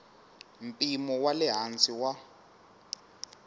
mpimo wa le hansi wa